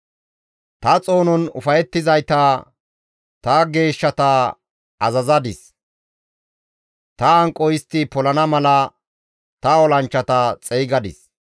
Ta xoonon ufayettizayta ta geeshshata azazadis; ta hanqo istti polana mala ta olanchchata xeygadis.